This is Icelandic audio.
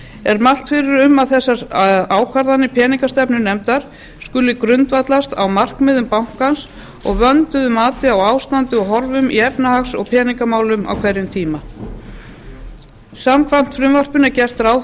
er mælt fyrir um að þessar ákvarðanir peningastefnunefndar skuli grundvallast á markmiðum bankans og vönduðu mati á ástandi og horfum í efnahags og peningamati á hver tíma samkvæmt frumvarpinu er gert ráð